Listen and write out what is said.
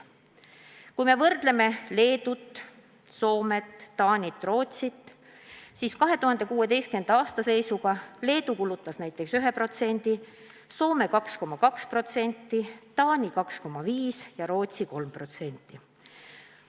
Kui me võrdleme Leedut, Soomet, Taanit ja Rootsit, siis näeme, et 2016. aasta seisuga Leedu kulutas selleks 1%, Soome 2,2%, Taani 2,5% ja Rootsi 3%.